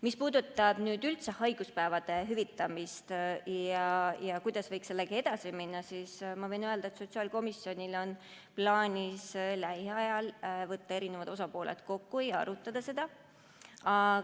Mis puudutab üldse haiguspäevade hüvitamist ja seda, kuidas võiks sellega edasi minna, siis ma võin öelda, et sotsiaalkomisjonil on plaanis lähiajal eri osapooled kokku võtta ja seda arutada.